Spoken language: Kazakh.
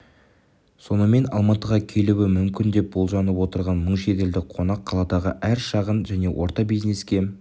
сонымен алматыға келуі мүмкін деп болжанып отырған мың шетелдік қонақ қаладағы әр шағын және орта бизнеске